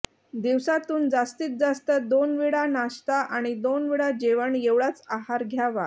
दिवसातून जास्तीत जास्त दोन वेळा नाष्टा आणि दोन वेळा जेवण एवढाच आहार घ्यावा